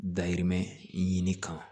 Dayirimɛ ɲini kama